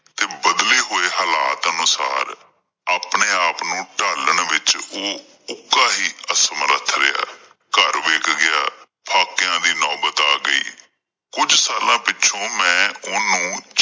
ਤੇ ਬਦਲੇ ਹੋਏ ਹਾਲਾਤ ਅਨੁਸਾਰ ਆਪਣੇ ਆਪਣੇ ਨੂੰ ਓਹ ਢਾਲਣ ਵਿੱਚ ਹੀ ਅਸਮਰੱਥ ਰਿਹਾ ਘਰ ਵਿੱਕ ਗਿਆ ਦੀ ਨੌਬਤ ਆ ਗਈ ਕੁਝ ਸਾਲਾਂ ਪਿੱਛੋਂ ਮੈਂ ਓਹਨੂੰ